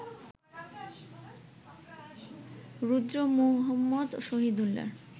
Rudra Muhammad শহিদুল্লাহর